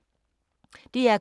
DR K